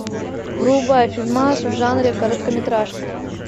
врубай фильмас в жанре короткометражка